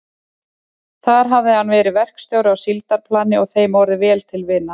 Þar hafði hann verið verkstjóri á síldarplani og þeim orðið vel til vina.